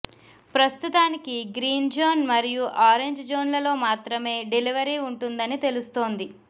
ప్రస్తుతానికి green zone మరియు orange జోన్లలో మాత్రమే డెలివరీ ఉంటుందని తెలుస్తోంది